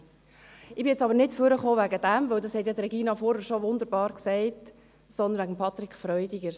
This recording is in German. Ich bin nun aber nicht deswegen nach vorne gekommen, denn das hat ja Regina Fuhrer schon wunderbar gesagt, sondern wegen Patrick Freudiger.